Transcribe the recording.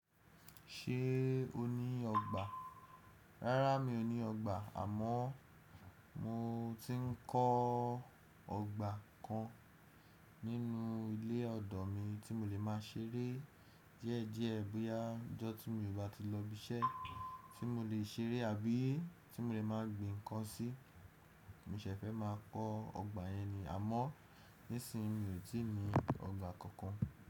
Ṣé o ní ọgbà? Rárá mi ò ní ọgbà àmọ́ mo ti ń kọ́ ọgbà kan nínú ilé ọ̀dọ̀ mi tí mo lè má a ṣeré díẹ̀ díẹ̀ bóyá ọjọ́ tí mo bà tí lọ ibi iṣẹ́ tí mo lè ṣeré àbí tí mo lè má a gbin ǹkan sí. Mò ṣe fẹ́ má a kọ́ ọgbà yẹn ni, àmọ́ nísìnyí mi ò tí ì ní ọgbà kankan.